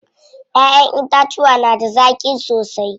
Ƴaƴen itacuwa da na zaƙi sosai.